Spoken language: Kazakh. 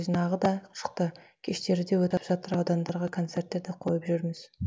жинағы да шықты кештері де өтіп жатыр аудандарға концерттер де қойып жүрміз